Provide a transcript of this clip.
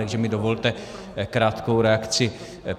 Takže mi dovolte krátkou reakci.